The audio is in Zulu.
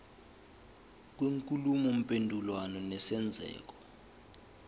kwenkulumo mpendulwano nesenzeko